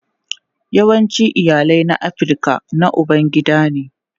Yawancin iyalai na Afirka na ubangida ne.